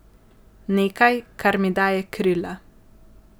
Nekaj, kar mi daje krila.